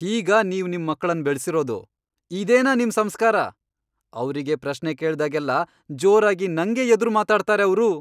ಹೀಗಾ ನೀವ್ ನಿಮ್ ಮಕ್ಳನ್ ಬೆಳ್ಸಿರೋದು? ಇದೇನಾ ನಿಮ್ ಸಂಸ್ಕಾರ?! ಅವ್ರಿಗೆ ಪ್ರಶ್ನೆ ಕೇಳ್ದಾಗ್ಲೆಲ್ಲಾ ಜೋರಾಗಿ ನಂಗೇ ಎದ್ರು ಮಾತಾಡ್ತಾರೆ ಅವ್ರು.